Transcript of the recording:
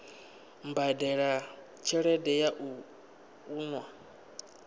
badela tshelede ya u unḓa